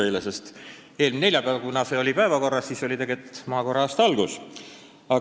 Eelmisel neljapäeval, kui see küsimus oli päevakorras, oli idamaade kalendri järgi maakoera aasta algus.